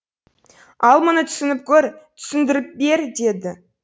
ал мұны түсініп көр түсіндіріп бер деді